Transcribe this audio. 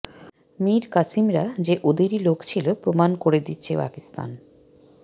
মির কাসেমরা যে ওদেরই লোক ছিল প্রমাণ করে দিচ্ছে পাকিস্তান